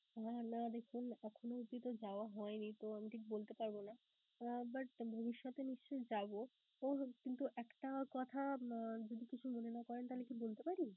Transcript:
আহ না দেখুন এখনো অবধি তো যাওয়া হয়নি, তো আমি ঠিক বলতে পারবো না. আহ but ভবিষ্যতে নিশ্চয়ই যাবো. ওহ! কিন্তু একটা কথা যদি কিছু মনে না করেন তাহলে কি বলতে পারি?